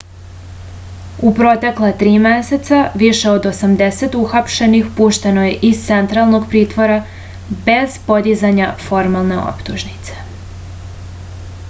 u protekla 3 meseca više od 80 uhapšenih pušteno je iz centralnog pritvora bez podizanja formalne optužnice